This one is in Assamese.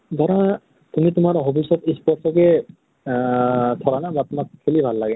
ধৰা তুমি তোমাৰ hobbies ত sports কে আহ ধৰা না তোমাক খেলি ভাল লাগে।